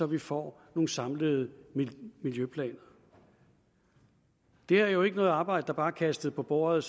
vi får nogle samlede miljøplaner det er jo ikke et arbejde der bare er kastet på bordet